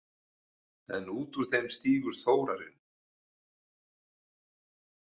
En út úr þeim stígur Þórarinn.